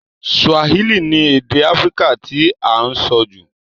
Swahili ni èdè Africa ti a n so jù